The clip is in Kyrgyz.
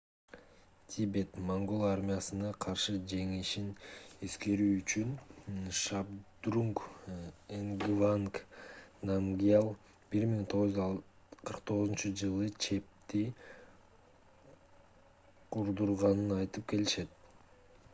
тибет-моңгол армиясына каршы жеңишин эскерүү үчүн шабдрунг нгаванг намгьял 1649-жылы чепти курдурганын айтып келишет